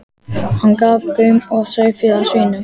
Hann gaf gaum að sauðfé, að svínum.